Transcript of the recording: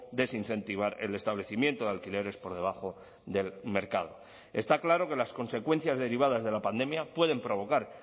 desincentivar el establecimiento de alquileres por debajo del mercado está claro que las consecuencias derivadas de la pandemia pueden provocar